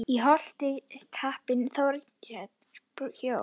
Í Holti kappinn Þorgeir bjó.